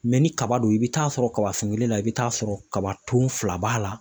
ni kaba don i bɛ taa sɔrɔ kaba sun kelen na, i bɛ t'a sɔrɔ kaba ton fila b'a la.